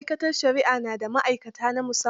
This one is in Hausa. Ma'aikatar shari'a na da ma'aikata na musamman.